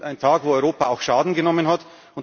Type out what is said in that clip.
Ein Tag, an dem Europa auch Schaden genommen